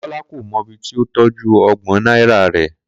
Kola kò mọ ibi tí ó tọ́jú ọgbọ̀n náírà rẹ̀